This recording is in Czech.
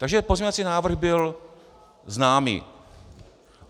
Takže pozměňovací návrh byl známý.